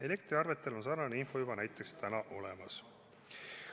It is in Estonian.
Elektriarvetel on sarnane info juba näiteks olemas.